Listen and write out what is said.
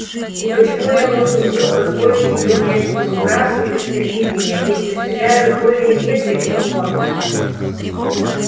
и почему я должен был позволить её бешеному братцу пристрелить меня если стреляю более метко чем он